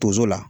Tonso la